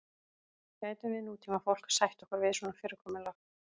gætum við nútímafólk sætt okkur við svona fyrirkomulag